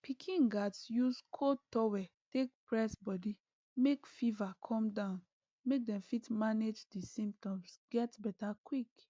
pikin gatz use cold towel take press body make fever come down make dem fit manage di symptoms get beta quick